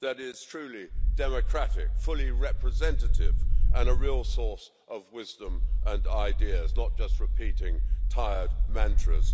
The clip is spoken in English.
that is truly democratic, fully representative and a real source of wisdom and ideas, not just repeating tired mantras.